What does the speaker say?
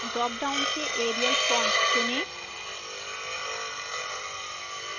drop down से arial font चुनें